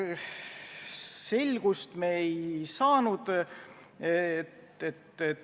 Selgust me ei saanud.